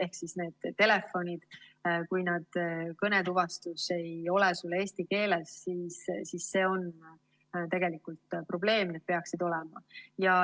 Kui telefonis kõnetuvastus ei ole eesti keeles, siis see on tegelikult probleem.